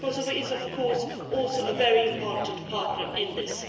Kosovo is, of course, also a very important partner in this.